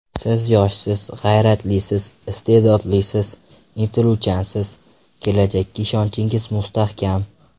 Siz yoshsiz, g‘ayratlisiz, iste’dodlisiz, intiluvchansiz, kelajakka ishonchingiz mustahkam.